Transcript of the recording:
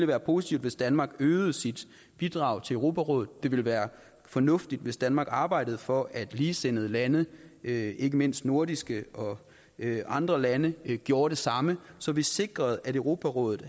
være positivt hvis danmark øgede sit bidrag til europarådet det ville være fornuftigt hvis danmark arbejdede for at ligesindede lande ikke ikke mindst nordiske og andre lande gjorde det samme så vi sikrer at europarådet